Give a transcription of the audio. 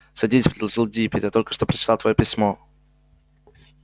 садись предложил диппет я только что прочитал твоё письмо